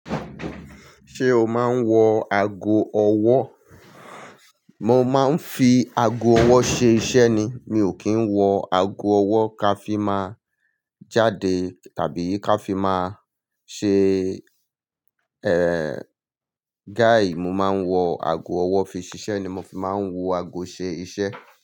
Ṣé o máa ń wọ ago ọwọ́? Mo máa ń fi ago ọwọ́ ṣe iṣẹ́ ni. Mi ò kí ń wọ ago ọwọ́ ká fi máa jáde tàbí ká fi máa ṣe, eh, gai. Mo máa ń wọ ago ọwọ́ fi ṣiṣẹ́ ni. Mo fi máa ń wọ ago ṣe iṣẹ́